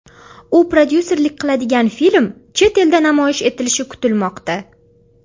U prodyuserlik qiladigan film chet elda namoyish etilishi kutilmoqda.